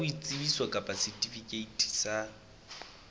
ya boitsebiso kapa setifikeiti sa